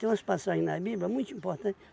Tem umas passagens na Bíblia muito importante